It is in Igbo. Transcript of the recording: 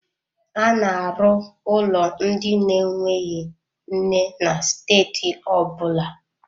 A na-arụ ụlọ ndị na-enweghị nne na steeti ọ bụla.